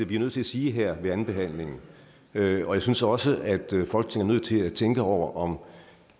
vi er nødt til at sige her ved andenbehandlingen og jeg synes også at folketinget til at tænke over om